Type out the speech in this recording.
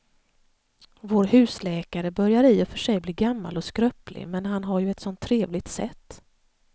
Vår husläkare börjar i och för sig bli gammal och skröplig, men han har ju ett sådant trevligt sätt!